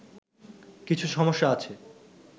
কিছু সমস্যা আছে